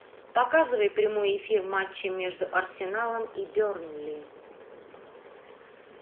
показывай прямой эфир матча между арсеналом и бернли